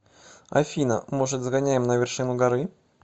афина может сгоняем на вершину горы